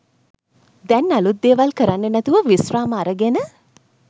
දැන් අලුත් දේවල් කරන්නෙ නැතුව විශ්‍රාම අරගෙන.